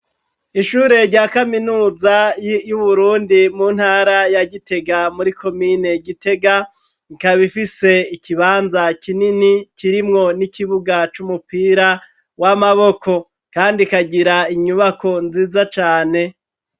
Ishure rya kaminuza y'Uburundi mu ntara ya Gitega muri komine Gitega, ikabifise ikibanza kinini kirimwo n'ikibuga c'umupira w'amaboko ,kandi ikagira inyubako nziza cane.